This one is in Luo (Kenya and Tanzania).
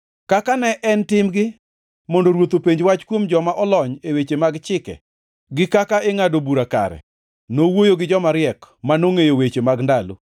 Kaka ne en timgi mondo ruoth openj wach kuom joma olony e weche mag chike gi kaka ingʼado bura kare, nowuoyo gi joma riek, manongʼeyo weche mag ndalo,